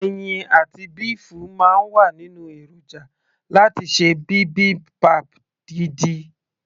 ẹyin àti béèfù máa ń wà nínú èròjà láti ṣe bibimbap gidi